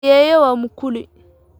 Ayeeyo waa mukuli